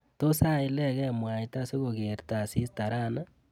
Tos aileke mwaita sikokerta asista rani?